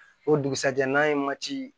O dugusajɛ n'an ye mati